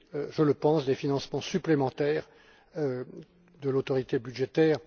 je le pense des financements supplémentaires de l'autorité budgétaire.